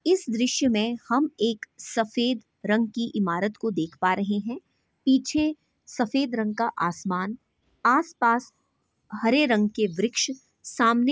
इस दृश्य मे हम एक सफेद रंग की इमारत को देख पा रहे है पीछे सफेद रंग का आसमान आसपास हरे रंग के वृक्ष सामने--